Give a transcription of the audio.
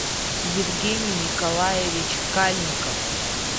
евгений николаевич кальников